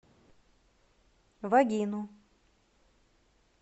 вагину